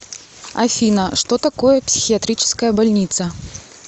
афина что такое психиатрическая больница